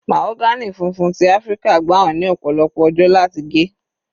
Mahagony funfun ti Áfíríkà gbà wọ́n ní ọ̀pọ̀lọpọ̀ ọjọ́ láti gé.